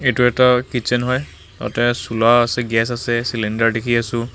এইটো এটা কিটছেন হয় তাতে চুলা আছে গেচ আছে ছিলিণ্ডাৰ দেখি আছোঁ।